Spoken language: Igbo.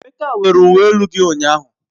Emeka werele uwe elu gi ụnyahụ.